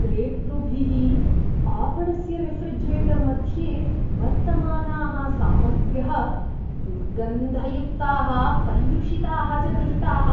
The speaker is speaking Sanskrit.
क्रेतृभिः आपणस्य रेफ़्रिजिरेटर् मध्ये वर्तमानाः सामग्र्यः दुर्गन्धयुक्ताः, पर्युषिताः च दृष्टाः।